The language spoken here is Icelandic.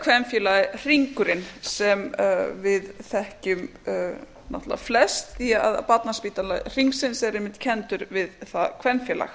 kvenfélagið hringurinn sem við þekkjum náttúrlega flest því barnaspítali hringsins er einmitt kenndur við að kvenfélag